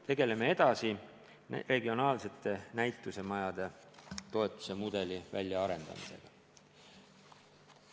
Tegeleme edasi regionaalsete näitusemajade toetuse mudeli väljaarendamisega.